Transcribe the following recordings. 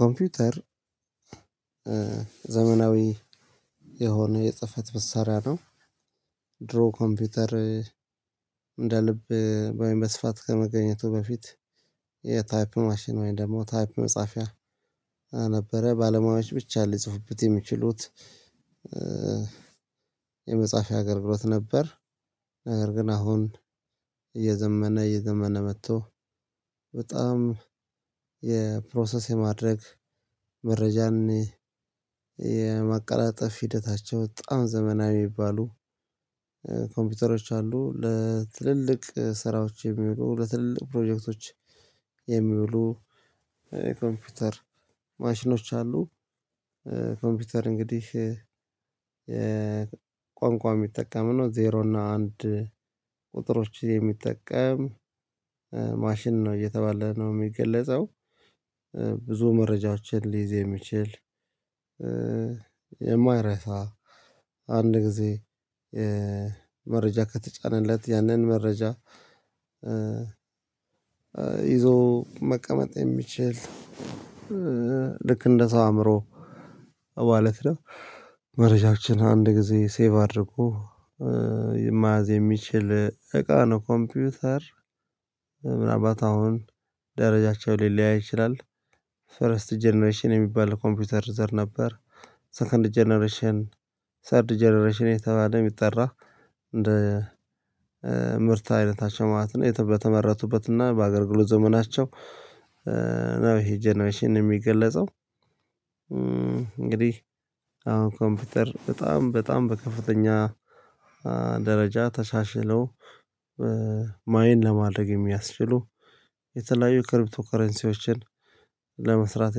ኮምፒውተር ዘመናዊ የሆነ የፅፈት መሳሪያ ነው። ድሮ ኮምፒውተር እንደ ልብ ወይም በስፋት ከመገኘቱ በፊት የታይፕ ማሽን ወይም ደግሞ ታይፕ መጻፊያ ነበረ ባለሙያዎች ብቻ ሊጽፉበት የሚችሉት። የመፃፊያ አገልግሎት ነበር። ነገር ግን አሁን እየዘመነ እየዘመነ መቶ በጣም የፕሮሰስ የማድረግ መረጃን የማቀላጠፍ ሂደታቸው በጣም ዘመናዊ ሚባሉ የታይፕ ማሽን ወይም ደግሞ ታይፕ መጻፊያ ነበረ ባለሙያዎች ብቻ ሊጽፉበት የሚችሉት። ኮምፒውተር እንግዲህ ቋንቋው የሚጠቀም ነው ዜሮ እና አንድ ቁጥሮችን የሚጠቀም ማሽን ነው እየተባለ ነው የሚገለጸው። ብዙ መረጃዎችን ሊይዝ የሚችል። የማይረሳ አንድ ጊዜ መረጃ ከተጫነለት ያንን መረጃ ይዞ መቀመጥ የሚችል ልክ እንደ ሰው አእምሮ ማለት ነው። መረጃችን አንድ ጊዜ ሴቭ አድርጎ የማያዝ የሚችል እቃ ነው ኮምፒውተር። ምናልባት አሁን ደረጃቸው ሊለያይ ይችላል። ፈረስት ጀነሬሽን የሚባል ኮምፒውተር ዘር ነበር። ሰከንድ ጀነሬሽን ሰርድ ጀነሬሽን የተባለ የሚጠራ እንደ ምርት አይነታቸው ማለት ነው በተመረቱበት እና በአገልግሎት ዘመናቸው። ነው ይሄ ጀነሬሽን የሚገለጸው። እንግዲህ አሁን ኮምፒውተር በጣም በጣም በከፍተኛ ደረጃ ተሻሽለው ማይን ለማድረግ የሚያስችሉ የተለያዩ ክሪፕቶ ከረንሲዎችን ለመስራት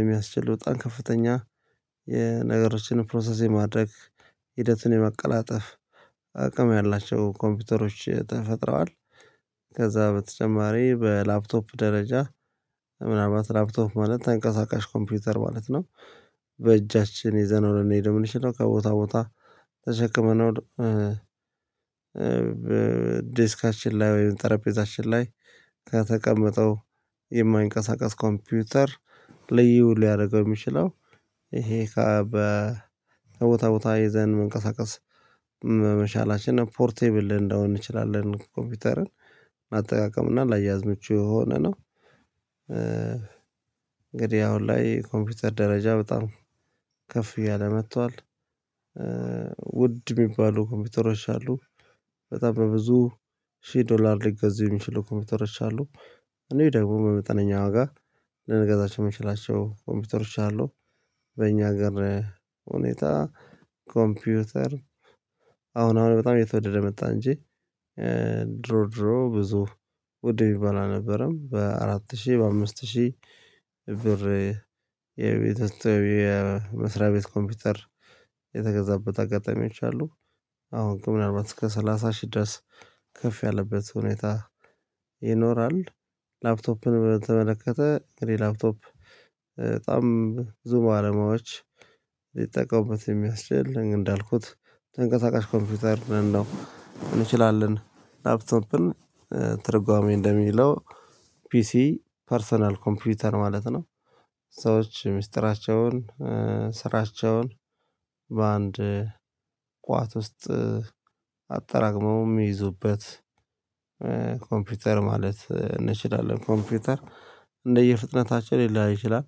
የሚያስችሉ በጣም ከፍተኛ የነገሮችን ፕሮሰስ የማድረግ ሂደቱን የመቀላጠፍ ያላቸው ኮምፒውተሮች ተፈጥረዋል። ከዛ በተጨማሪ በላፕቶፕ ደረጃ ምናልባት ላፕቶፕ ማለት ተንቀሳቃሽ ኮምፒውተር ማለት ነው። በእጃችን ይዘነው ልንሄደው ምንችለው ከቦታ ቦታ ተሸክመነው። ዴስካችን ላይ ወይም ጠረጴዛችን ላይ ከተቀመጠው የማይንቀሳቀስ ኮምፒውተር ልዩ ሊያደርገው የሚችለው እሄ ከቦታ ቦታ ይዘን መንቀሳቀስ መሻላችን ፖርቴብል እንዳሆን እንችላለን ኮምፒውተርን አጠቃቀምና ላያያዝ ምቹ የሆነ ነው። እንግዲህ አሁን ላይ ኮምፒውተር ደረጃ በጣም ከፍ እያለ መጥቷል። ውድ ሚባሉ ኮምፒውተሮች አሉ። በጣም በብዙ ሺህ ዶላር ሊገዙ የሚችሉ ኮምፒውተሮች አሉ። እኔ ደግሞ በመጠነኛ ዋጋ ልንገዛቸው የምችላቸው ኮምፒውተሮች አሉ። በእኛ ሀገር ሁኔታ ኮምፒውተር አሁን አሁን በጣም የተወደደ መጣ እንጂ ድሮ ድሮ ብዙ ውድ ሚባል አልነበረም በአራት ሺህ በአምስት ሺህ ብር። የመስሪያ ቤት ኮምፒውተር የተገዛበት አጋጣሚዎች አሉ። አሁን ግን ምናልባት እስከ ሰላሳ ሺህ ድረስ ከፍ ያለበት ሁኔታ ይኖራል። ላፕቶፕን በተመለከተ እንግዲህ ላፕቶፕ በጣም ብዙ ባለሙያዎች ሊጠቀሙበት የሚያስችል እንዳልኩት ተንቀሳቃሽ ኮምፒውተር ልንለው እንችላለን ላፕቶፕን ትርጓሜ እንደሚለው ፒሲ ፐርሰናል ኮምፒውተር ማለት ነው። ሰዎች ሚስጥራቸውን ስራቸውን በአንድ ቋት ውስጥ አጠራቅመው ሚይዙበት ማለት እንችላለን ኮምፒውተር። እንደየ ፍጥነታችን ሊለያይ ይችላል።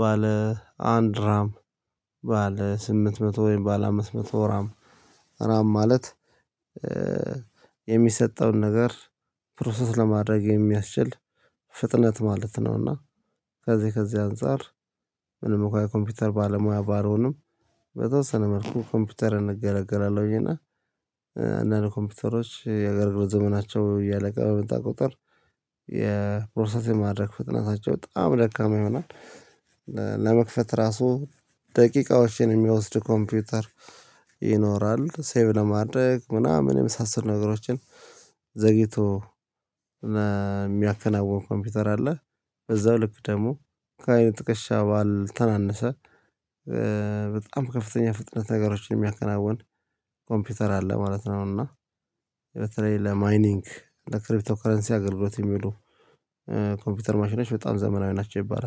ባለ አንድ ራም ባለ ስምንት መቶ ወይም ባለ አምስት መቶ ራም ራም ማለት የሚሰጠውን ነገር ፕሮሰስ ለማድረግ የሚያስችል ፍጥነት ማለት ነው። እና ከዚህ ከዚህ አንፃር ምንም እንኳ የኮምፒውተር ባለሙያ ባልሆንም በተወሰነ መልኩ ኮምፒውተርን እገለገላለሁኝ እና አንዳንድ ኮምፒውተሮች የአገልግሎት ዘመናቸው እያለቀ በመጣ ቁጥር የፕሮሰስ የማድረግ ፍጥነታቸው በጣም ደካማ ይሆናል። ለመክፈት ራሱ ደቂቃዎችን የሚወስድ ኮምፒውተር ይኖራል ሴቭ ለማድረግ ምናምን የመሳሰሉ ነገሮችን ዘግይቶ የሚያከናውን ኮምፒውተር አለ። በዛው ልክ ደግሞ ከአይን ጥቅሻ ባል ተናነሰ በጣም ከፍተኛ ፍጥነት ነገሮችን የሚያከናውን ኮምፒውተር አለ ማለት ነው። እና በተለይ ለማይኒንግ ክርፕቶ ከረንሲ አገልግሎት የሚውሉ ኮምፒውተር ማሽኖች በጣም ዘመናዊ ናቸው ይባላል